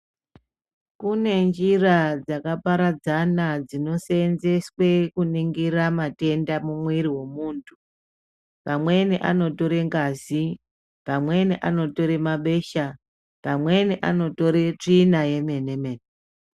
Kune njira dzakaparadzana dzinoseenzeswe kuningira matenda mukati memwiri wemuntu. Pamweni anotore ngazi, pamweni anotore mabesha, pamweni anotore tsvina yemene-mene.